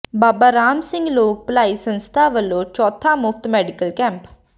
ਬਾਬਾ ਰਾਮ ਸਿੰਘ ਲੋਕ ਭਲਾਈ ਸੰਸਥਾ ਵਲੋਂ ਚੌਥਾ ਮੁਫ਼ਤ ਮੈਡੀਕਲ ਕੈਂਪ